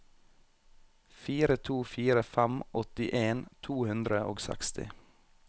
fire to fire fem åttien to hundre og seksti